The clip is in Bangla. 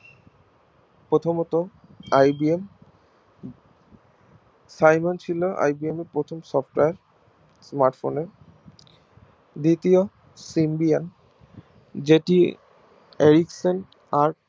প্রথমত IBM ছিল IBM এর প্রথম Software smartphone এ দ্বিতীয় যেটি